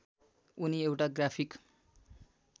उनी एउटा ग्राफिक